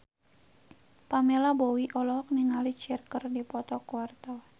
Pamela Bowie olohok ningali Cher keur diwawancara